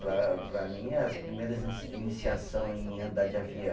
Para para mim, as primeiras iniciação em andar de avião